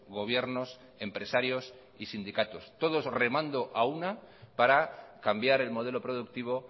gobiernos empresarios y sindicatos todos remando a una para cambiar el modelo productivo